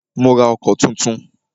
Mó rá ọkọ̀ túntún.